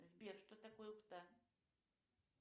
сбер что такое пта